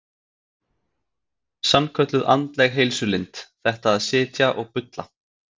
Sannkölluð andleg heilsulind, þetta að sitja og bulla.